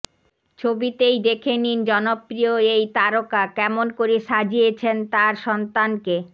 ছবিতেই দেখে নিন জনপ্রিয় এই তারকা কেমন করে সাজিয়েছেন তার সন্তানকে